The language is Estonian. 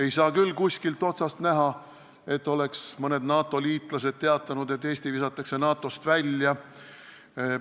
Ei ole küll kuskilt otsast näha, et mõned NATO liitlased oleks teatanud, et Eesti visatakse NATO-st välja.